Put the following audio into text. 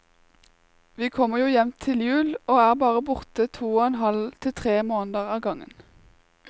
Vi kommer jo hjem igjen til jul, og er bare borte to og en halv til tre måneder av gangen.